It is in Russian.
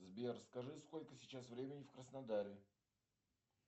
сбер скажи сколько сейчас времени в краснодаре